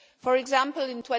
For example in